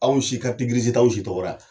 Anw si, karitigirisi t'anw si tɔgɔra.